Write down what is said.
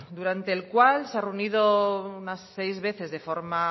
durante el cual se ha reunido unas seis veces de forma